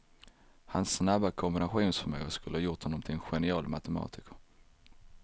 Hans snabba kombinationsförmåga skulle ha gjort honom till en genial matematiker.